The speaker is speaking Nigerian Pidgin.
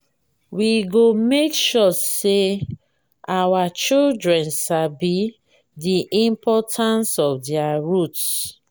we go make sure say our children sabi the importance of their roots.